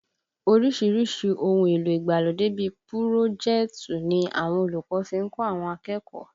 Oríṣiríṣi ohun èlò ìgbàlódé bíi pùròjẹ́tọ̀ ni àwọn olùkọ́ fi ń kọ́ àwọn akẹ́kọ̀ọ́